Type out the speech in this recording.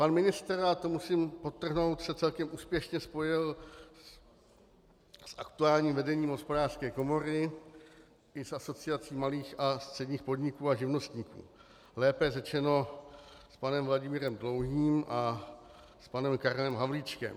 Pan ministr, a to musím podtrhnout, se celkem úspěšně spojil s aktuálním vedením Hospodářské komory i s Asociací malých a středních podniků a živnostníků, lépe řečeno s panem Vladimírem Dlouhým a s panem Karlem Havlíčkem.